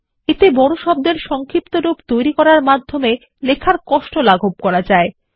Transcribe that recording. এতে বড় শব্দের সংক্ষিপ্তরূপ তৈরী করে লেখার কষ্ট লাঘব করা যায়